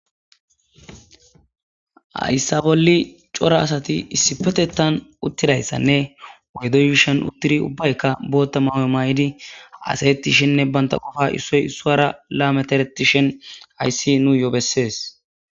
ayssa bolli cora asati issipetettan uttidayssanne woydoyshan uttidi ubbaykka bootta mawoy maay7idi asayettishenne banta qofa issoy issuwara lametereti shen ayssi nu yoo bessees